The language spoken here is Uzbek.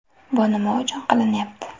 Bu nima uchun qilinyapti?